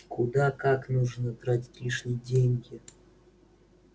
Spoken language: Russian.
куда как нужно тратить лишние деньги